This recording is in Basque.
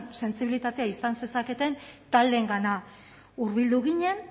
sentsibilitatea izan zezaketen taldeengana hurbildu ginen